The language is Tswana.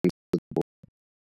dipholo tse .